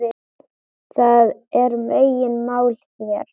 Það er megin mál hér.